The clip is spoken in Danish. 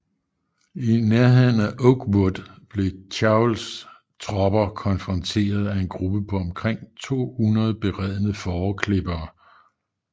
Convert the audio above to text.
I nærheden af Oakwood blev Chauvels tropper konfronteret af en gruppe på omkring 200 beredne fåreklippere